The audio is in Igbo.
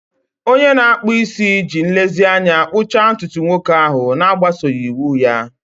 Onye na-akpụ isi ji nlezianya kpụchaa ntutu nwoke ahụ, na-agbaso iwu ya.